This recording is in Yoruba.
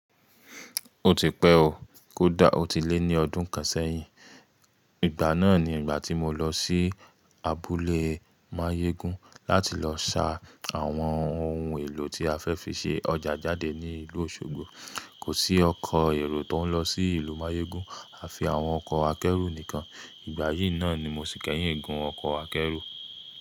O ti pẹ́ o, kódà ó ti lé ní ọdún kan sẹ́yìn. Ìgbà náà ni ìgbà tí mo lọ sí abúlé Máyégún láti lọ sa àwọn ohun èlò tí a fẹ́ fi ṣe ọjà jáde ní ìlú Òṣogbo. Kò sí ọkọ̀ èrò tó ń lọ sí ìlú Mayégún, à fi àwọn ọkọ̀ akẹ́rù nìkan. Ìgbà yìí náà ni mo ti kẹ́yìn gun ọkọ̀ akẹ́rù.